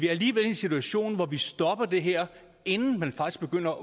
alligevel i en situation hvor vi stopper det her inden man faktisk begynder